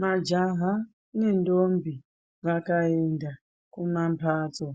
Majaha nendombi vakaenda kumamhatso